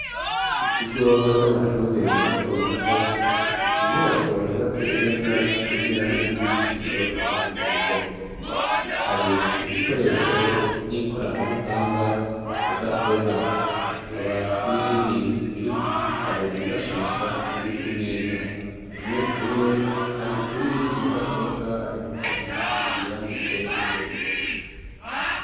Mu kigo c'amashure mato mato. Inyubako yubatse neza isize irangi ry'umuhondo imbere ku ruhome. Hari ibikoresho vy' ikoranabuhanga, mudasobwa hakaba n'ibindi birimwo ibitabo bifashisha biri ku meza. Umunyeshure ari kuri mudasobwa ari gusoma ivyanditse imbere.